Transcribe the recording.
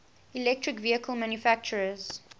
electric vehicle manufacturers